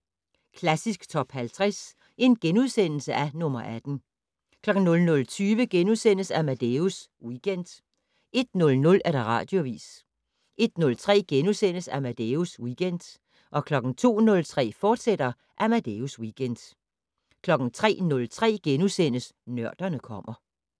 00:05: Klassisk Top 50 - nr. 18 * 00:20: Amadeus Weekend * 01:00: Radioavis 01:03: Amadeus Weekend * 02:03: Amadeus Weekend, fortsat 03:03: Nørderne kommer *